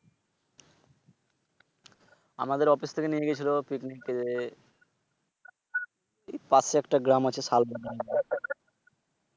আমাদের অফিস থেকে নিয়ে গেছিল Picnic এ এই পাশে একটা গ্রাম আছে শালবাগান।